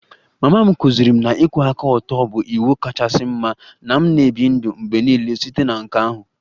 Mama m kụziiri m na ịkwụwa aka ọtọ bụ iwu kachasị mma na m na-ebi ndụ mgbe niile site na nke ahụ